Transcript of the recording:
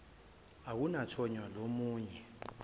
akunathonya lomu nye